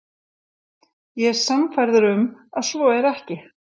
Ég er sannfærður um, að svo er ekki.